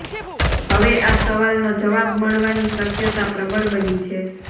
હવે આ સવાલનો જવાબ મળવાની શક્યતા પ્રબળ બની છે